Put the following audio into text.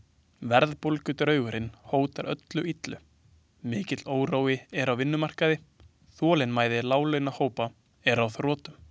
Verðbólgudraugurinn hótar öllu illu, mikill órói er á vinnumarkaði, þolinmæði láglaunahópanna er á þrotum.